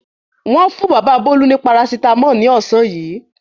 Wọ́n fún bàbá Bólú ní parasítámọ̀ ní ọ̀sán yìí.